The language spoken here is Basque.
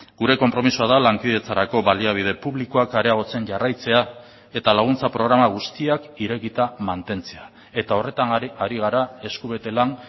gure konpromisoa da lankidetzarako baliabide publikoak areagotzen jarraitzea eta laguntza programa guztiak irekita mantentzea eta horretan ari gara esku bete lan